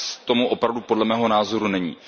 Tak tomu opravdu podle mého názoru není.